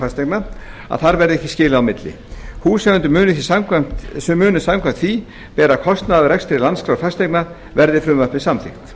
fasteigna að þar verði ekki skilið á milli húseigendur munu samkvæmt því bera kostnað af rekstri landskrár fasteigna verði frumvarpið samþykkt